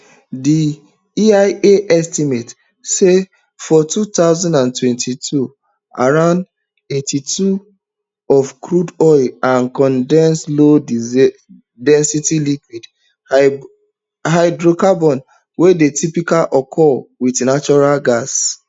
di eia estimate say for two thousand and twenty-two around eighty-two of crude oil and condensates lowdensity liquid hydrocarbons wey dey typically occur wit natural gas